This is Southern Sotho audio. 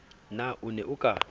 na o ne o ka